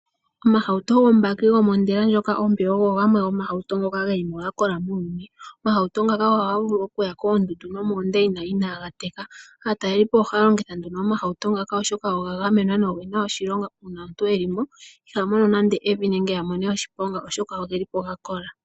Omahauto gombaki, gomondela ndyoka ompe ogo gamwe gomahauto ngoka geli mo gakola muuyuni. Omahauto ngaka ohaga vulu okuya koondundu nenge moondeina inaaga teka. Aatalelipo ohaya longitha omahauto ngaka, oshoka oga gamenwa nogena ondilo, oshoka omuntu ngele eli mo iha mono nande oshiponga nenge evi, oshoka ogeli po gakola.